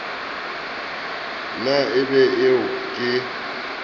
na e be eo ke